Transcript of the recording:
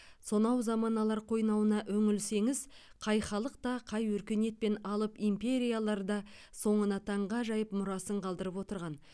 сонау заманалар қойнауына үңілсеңіз қай халық та қай өркениет пен алып империялар да соңына таңғажайып мұрасын қалдырып отырған